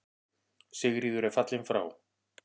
Sigríður er fallin frá.